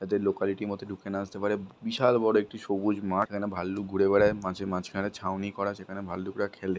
যাতে লোকালিটির মধ্যে ঢুকে না আসতে পারে বিশাল বড় একটি সবুজ মাঠ এখানে ভাল্লুক ঘুরে বেড়ায় মাঠের মাঝখানে ছাউনি করা সেখানে ভাল্লুকরা খেলে।